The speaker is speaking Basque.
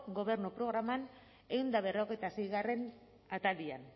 gobernu programan ehun eta berrogeita seigarrena atalean